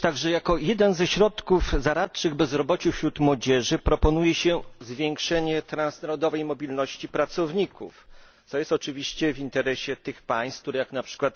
Jako jeden ze środków zaradczych bezrobociu wśród młodzieży proponuje się zwiększenie transnarodowej mobilności pracowników, co jest oczywiście w interesie tych państw, które jak np.